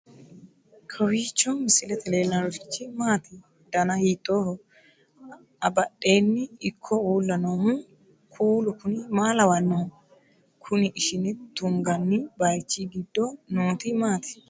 kowiicho misilete leellanorichi maati ? dana hiittooho ?abadhhenni ikko uulla noohu kuulu kuni maa lawannoho? kuni ishine tunganni baychi giddo nooti maati